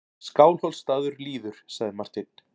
Skálholtsstaður líður, sagði Marteinn.